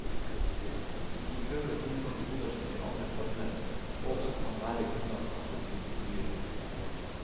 Vi prøver å finne metoder som gir andre former, og som kan være grunnlag for andre typer byrom.